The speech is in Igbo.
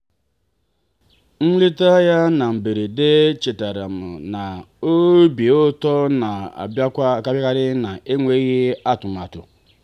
nleta ya na mberede chetaara m na obi ụtọ na-abịakarị n'enweghị atụmatụ.